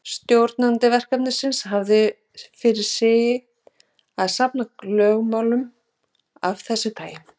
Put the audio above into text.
Stjórnandi verkefnisins hafði fyrir sið að safna lögmálum af þessu tagi.